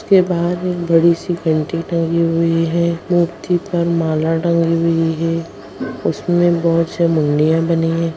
के बाहर एक बड़ी सी घंटी टंगी हुई है मूर्ति पर माला टंगी हुई है उसमें बहोत मुंडिया बनी है।